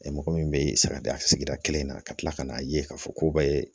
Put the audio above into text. mɔgɔ min be sagadenya sigida kelen na ka kila ka n'a ye k'a fɔ k'u b'a ye